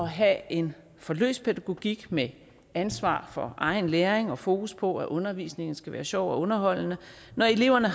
have en for løs pædagogik med ansvar for egen læring og fokus på at undervisningen skal være sjov og underholdende når eleverne